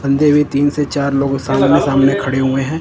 बंदे भी तीन से चार लोग सामने सामने खड़े हुए है।